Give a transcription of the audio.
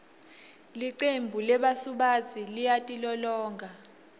licembu lebasubatsi liyatilolonga